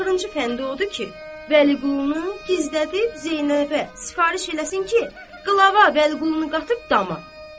Axırıncı fəndi odur ki, Vəliqulunu gizlədib Zeynəbə sifariş eləsin ki, Qlava Vəliqulunu qatıb dama.